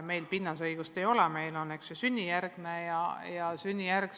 Me sünnikohta ei arvesta, meil on põhiline sünnijärgne kodakondsus.